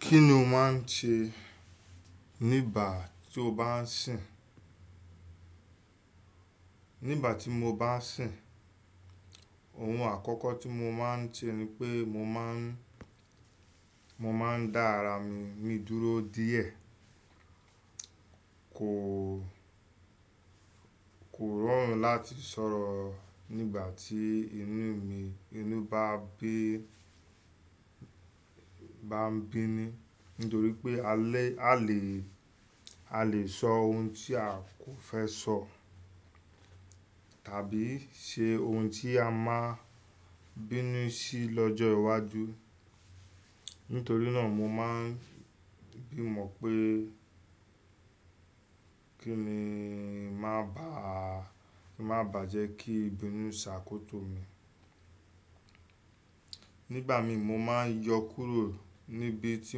Kí ni o máa ń ṣe nígbà tí o bá ń sìn? Nígbà tí mo bá ń sìn, ohun àkọ́kọ́ tí mo máa ń ṣe ni pé mo má ń, mo máa ń dá ara mi dúró díẹ̀. Kò, kò rọrùn láti sọ̀rọ̀ nígbà tí inú mi, inú bá ń bí, bá ń bínú. Nítorí pé a lé, a lè, a lè sọ ohun tí a kò fẹ́ sọ tàbí ṣe ohun tí a máa bínú sí lọ́jọ́ iwájú. Nítorí náà mo máa ń gbìmọ̀ pé kí n má bàá, má bàá jẹ́ kí ìbínú ṣàkóso mi. Nígbà mi mo máa ń yọ kúrò níbi tí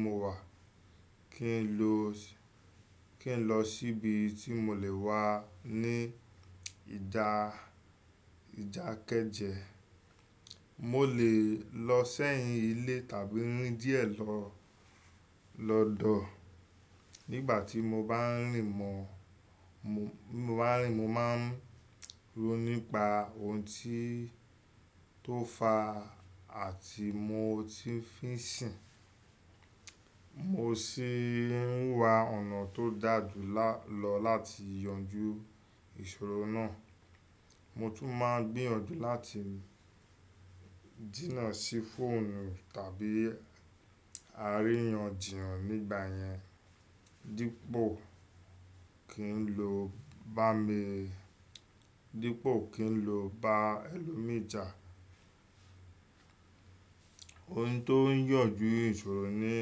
mo wà, kí n lọ, kí n lọ sí ibi tí mo lè wà ní ìdà, ìdà kéje. Mo lè lọ sẹ́yìn ilé tàbí rín díẹ̀ lọ, lọ̀dọ̀. Nígbà tí mo bá ń rìn mọ, mo bá ń rìn mo máa ń rò nípa ohun tó fà á àti mo tí ń fí sìn. Mo sì ń wa ọ̀nà tó dà jù lọ láti yanjú ìṣòro náà. Mo tún máa ń gbìyànjú láti dínà sí fóònù tàbí àríyànjiyàn nígbà yẹn. Dípò kí n lo bá mi, dípò kí n lo bá ẹlòmíràn. Ohun tó ń yànjú ìṣòro ni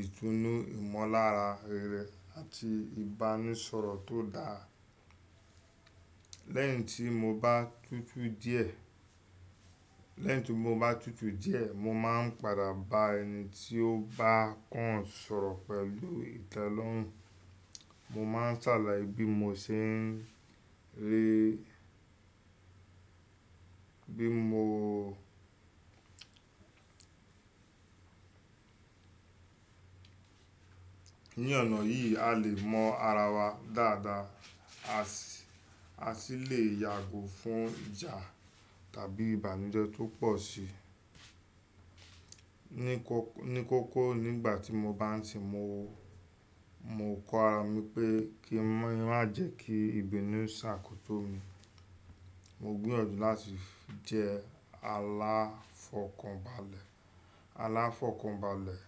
ìtúnu, ìmọlára rere àti ìbánisọ̀rọ̀ tó dáa. Lẹ́yìn tí mo bá tutù díẹ̀, lẹ́yìn tí mo bá tutù díẹ̀, mo máa ń padà bá ẹni tí ó bá kàn sọ̀rọ̀ pẹ̀lú ìtẹ́lọ́rùn. Mo máa ń ṣàlàyé bí mo ṣe ń rí, bí mo ní ọ̀nà yìí a lè mọ ara wa dáadáa. A sì, a sì lè yàgò fún ìjà tàbí ìbànújẹ́ tó pọ̀ sí i. Ni kókó nígbà tí mo bá ń sìn mo, mo kọ ara mi pé kí n má jẹ́ kí ìbínú ṣàkóso mi. Mo gbìyànjú láti jẹ́ aláfọ̀kànbalẹ̀, aláfọ̀kànbalẹ̀.